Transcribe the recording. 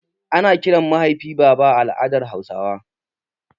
Ana kiran mahaifi baba a al'adan hausawa